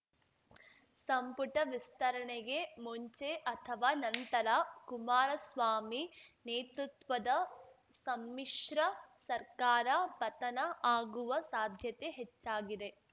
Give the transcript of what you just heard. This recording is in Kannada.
ಸಂಪುಟ ವಿಸ್ತರಣೆಗೆ ಮುಂಚೆ ಅಥವಾ ನಂತರ ಕುಮಾರಸ್ವಾಮಿ ನೇತೃತ್ವದ ಸಮ್ಮಿಶ್ರ ಸರ್ಕಾರ ಪತನ ಆಗುವ ಸಾಧ್ಯತೆ ಹೆಚ್ಚಾಗಿದೆ